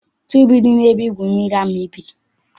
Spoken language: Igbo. Tuubu dị n'ebe igwu mmiri ahụ mebiri.